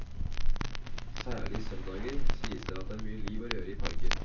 Særlig søndager sies det at det er mye liv og røre i parken.